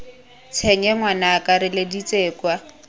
tshenye ngwanaka re letseditse kwa